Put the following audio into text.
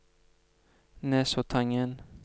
Nesoddtangen